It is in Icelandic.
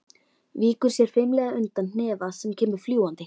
Víkur sér fimlega undan hnefa sem kemur fljúgandi.